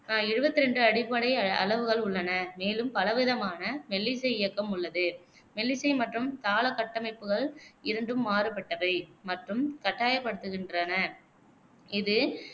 அஹ் எழுவத்தி ரெண்டு அடிப்படை அளவுகள் உள்ளன, மேலும் பலவிதமான மெல்லிசை இயக்கம் உள்ளது. மெல்லிசை மற்றும் தாள கட்டமைப்புகள் இரண்டும் மாறுபட்டவை மற்றும் கட்டாயப்படுத்துகின்றன. இது